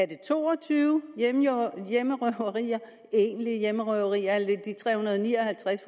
det to og tyve egentlige hjemmerøverier eller er det tre hundrede og ni og halvtreds